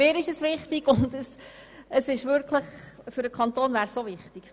Mir ist es wichtig und es wäre auch für den Kanton wichtig!